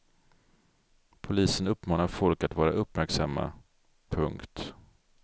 Polisen uppmanar folk att vara uppmärksamma. punkt